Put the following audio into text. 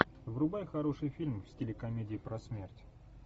врубай хороший фильм в стиле комедии про смерть